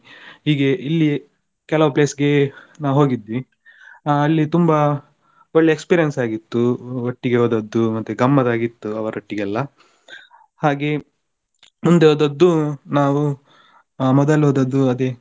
ಹೀಗೆ ಇಲ್ಲಿಯೇ ಕೆಲವ್ place ಗೆ ನಾವು ಹೋಗಿದ್ವಿ ಆ ಅಲ್ಲಿ ತುಂಬಾ ಒಳ್ಳೆ experience ಆಗಿತ್ತು ಒಟ್ಟಿಗೆ ಹೋದದ್ದು ಮತ್ತೆ ಗಮ್ಮತ್ತ್ ಆಗಿತ್ತು ಅವರೊಟ್ಟಿಗೆಲ್ಲ. ಹಾಗೆ ಮುಂದೆ ಹೋದದ್ದು ನಾವು ಹಾ ಮೊದಲು ಹೋದದ್ದು ಅದೇ.